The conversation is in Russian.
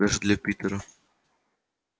даже для питера